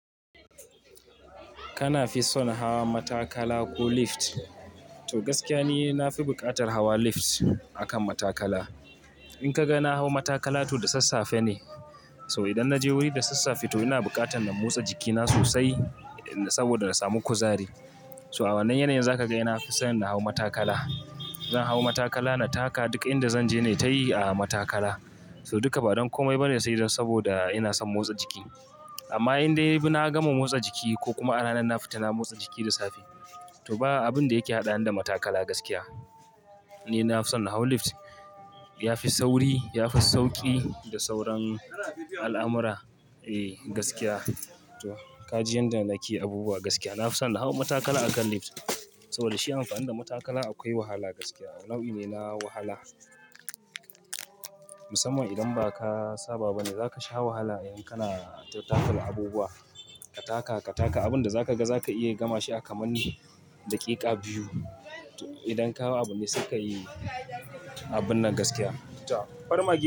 Kana fi son hawa matakala ko lift? To gaskiya ne, na fi bukatar hawa lift akan matakala. In ka ga na hau matakala to da sassafe ne. So idan na je wuri da sassafe to ina bukatar na motsa jikina sosai saboda na samu kuzari. So a wannan yanayin za ka ga ina fi son na hau matakala. Zan hau matakala na taka. Duka inda zan je ne tayi a matakala. So duka ba don komai ba ne sai dan saboda ina son motsa jiki. Amma in dai na gama motsa jiki ko kuma a ranar na fita na motsa jiki da safe to ba abin da yake hada ni da matakala gaskiya. Ni na fi son na hau lift. Ya fi sauri, ya fi sauki da sauran al'amura. Ehh gaskiya to ka ji inda nake abubuwa gaskiya. Na fi son na hau matakala akan lift saboda shi amfani da matakala akwai wahala gaskiya. Abu ne na wahala. Musamman idan ba ka saba ba ne za ka sha wahala in kana tafiyar da abubuwa. Ka taka, ka taka abin da za ka ga za ka iya gama shi a kaman daƙiƙa biyu. To idan ka hau abu ne suka yi abun nan gaskiya. To farmaki.